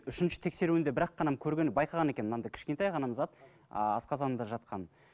үшінші тексеруінде бірақ қана көргені байқаған екен мынандай кішкентай ғана зат асқазанында жатқан